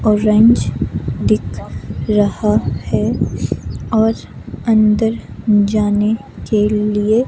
orange दिख रहा है और अंदर जाने के लिए--